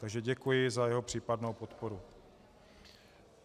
Takže děkuji za jeho případnou podporu.